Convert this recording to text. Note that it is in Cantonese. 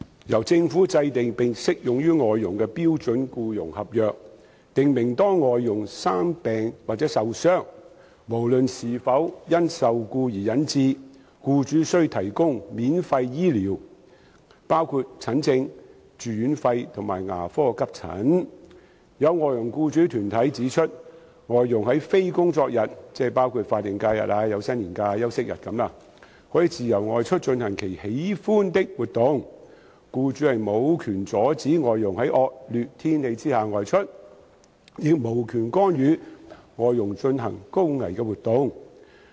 由政府制訂並適用於外傭的《標準僱傭合約》訂明，當外傭"生病或受傷，無論是否因受僱而引致，僱主須提供免費醫療，包括診症、住院費用及牙科急診"。有外傭僱主團體指出，外傭在非工作日可自由外出進行其喜歡的活動。僱主無權阻止外傭在惡劣天氣下外出，亦無權干預外傭進行高危活動。